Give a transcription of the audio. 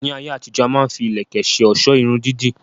Ní ayé àtijó, a má ń fi ìlẹ̀kẹ̀ ṣe ọ̀sọ́ Irun dídì